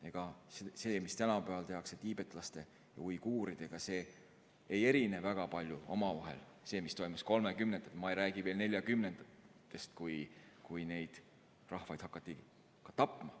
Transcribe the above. Ega see, mis tänapäeval tehakse tiibetlaste ja uiguuridega, ei erine väga palju sellest, mis toimus 1930-ndatel, rääkimata veel 1940-ndatest, kui neid rahvaid hakati massiliselt tapma.